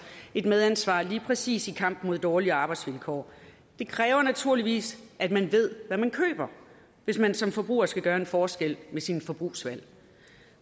et medansvar lige præcis i kampen mod dårlige arbejdsvilkår det kræver naturligvis at man ved hvad man køber hvis man som forbruger skal gøre en forskel med sine forbrugsvalg